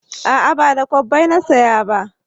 A'a ba da kwabbai na saya ba